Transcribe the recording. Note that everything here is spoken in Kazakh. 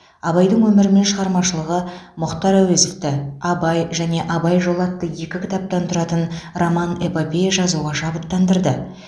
абайдың өмірі мен шығармашылығы мұхтар әуезовті абай және абай жолы атты екі кітаптан тұратын роман эпопея жазуға шабыттандырды